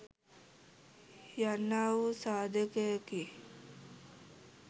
යන්නා වූ සාධකයකි.